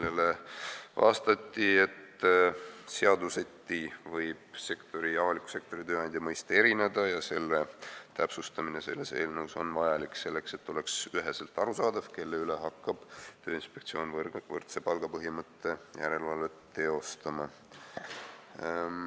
Sellele vastati, et eri seadustes võib avaliku sektori tööandja mõiste erinev olla ja selle täpsustamine selles eelnõus on vajalik selleks, et oleks üheselt arusaadav, kus hakkab Tööinspektsioon võrdse palga põhimõtte täitmise järelevalvet tegema.